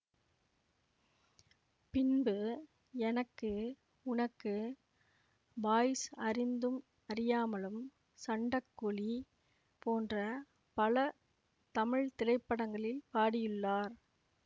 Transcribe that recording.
பின்பு எனக்கு உனக்கு பாய்ஸ் அறிந்தும் அறியாமலும் சண்டக்கோழி போன்ற பல தமிழ் திரைப்படங்களில் பாடியுள்ளார்